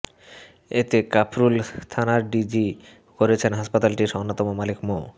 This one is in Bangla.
এতে কাফরুল থানায় জিডি করেছেন হাসপাতালটির অন্যতম মালিক মো